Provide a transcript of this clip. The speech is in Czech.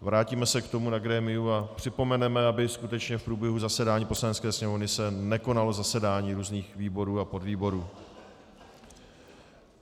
vrátíme se k tomu na grémiu a připomeneme, aby skutečně v průběhu zasedání Poslanecké sněmovny se nekonalo zasedání různých výborů a podvýborů.